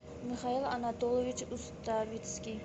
михаил анатольевич уставицкий